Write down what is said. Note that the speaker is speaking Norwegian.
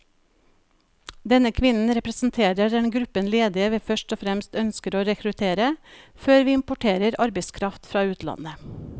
Denne kvinnen representerer den gruppen ledige vi først og fremst ønsker å rekruttere, før vi importerer arbeidskraft fra utlandet.